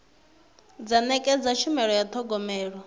dza nekedza tshumelo ya thogomelo